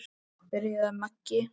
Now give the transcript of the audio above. byrjaði Maggi.